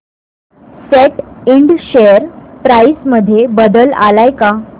सॅट इंड share price मध्ये बदल आलाय का